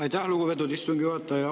Aitäh, lugupeetud istungi juhataja!